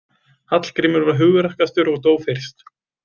Hallgrímur var hugrakkastur og dó fyrst.